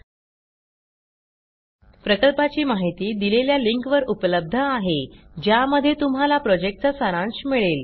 सदर प्रकल्पाची माहिती देणारा व्हिडीओ खालील लिंकवर उपलब्ध आहे ज्यामध्ये तुम्हाला ह्या प्रॉजेक्टचा सारांश मिळेल